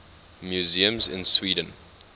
museums in sweden